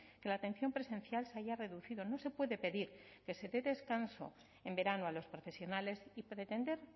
que la atención presencial se haya reducido no se puede pedir que se dé descanso en verano a los profesionales y pretender